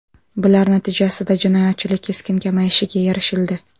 Bular natijasida jinoyatchilik keskin kamayishiga erishildi.